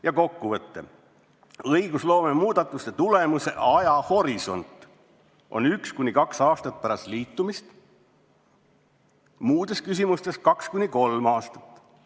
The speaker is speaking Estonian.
" Ja kokkuvõte: õigusloome muudatuste tulemuse ajahorisont on 1–2 aastat pärast liitumist, muudes küsimustes 2–3 aastat.